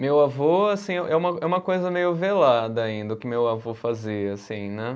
Meu avô, assim, é uma, é uma coisa meio velada ainda o que meu avô fazia, assim, né?